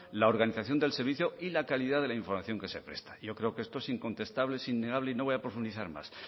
la organización del servicio y la calidad de la información que se presta yo creo que esto es incontestable es innegable y no voy a profundizar más